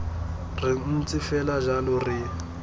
re ntse fela jalo re